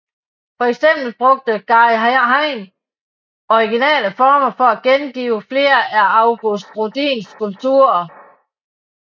For eksempel brugte Guy Hain originale forme til at gengive flere af Auguste Rodins skulpturer